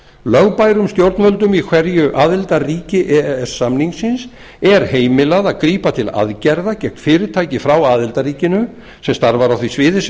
lögbærum stjórnvöldum í hverju aðildarríki e e s samningsins er heimilað að grípa til aðgerða gegn fyrirtæki frá aðildarríkinu sem starfar á því sviði sem